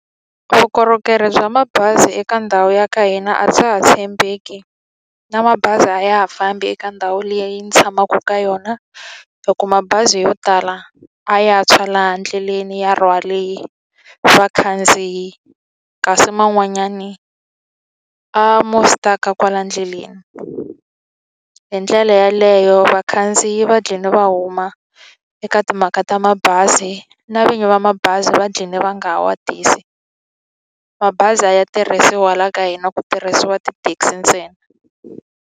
Vukorhokeri bya mabazi eka ndhawu ya ka hina a bya ha tshembeki, na mabazi a ya ha fambi eka ndhawu liya yi ni tshamaka ka yona. Hikuva mabazi yo tala a ya ha tshwa laha ndleleni ya rhwale vakhandziyi, kasi man'wanyani a mo stuck-a kwala ndleleni. Hi ndlela yeleyo vakhandziyi va dlhine va huma eka timhaka ta mabazi, na vinyi va mabazi va dlhine va nga ha ma tisi. Mabazi a ya tirhisiwi la ka hina, ku tirhisiwa tithekisi ntsena.